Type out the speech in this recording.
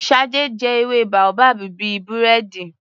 Shade jẹ ewé boabab bíi búrẹ́dì.